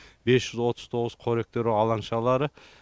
бес жүз отыз тоғыз қоректену алаңшалары